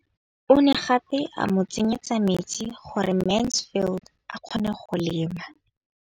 O ne gape a mo tsenyetsa metsi gore Mansfield a kgone go lema.